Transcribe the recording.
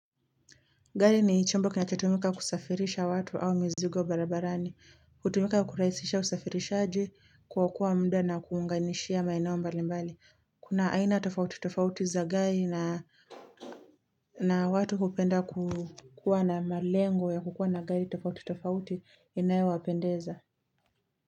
Gari ni chombo kinachatumika kusafirisha watu au mizigo barabarani. Kutumika kukuraisisha usafirishaji kuokoa muda na kuunganishia maenaombalimbali. Kuna aina tofauti tofauti za gari na watu kupenda kukuwa na malengo ya kukuwa na gari tofauti tofauti inayo wapendeza.